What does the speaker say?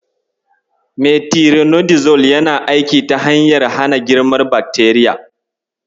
Metironidazol yana aiki ta hanyar hana girman bakteriya.